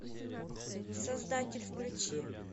создатель включи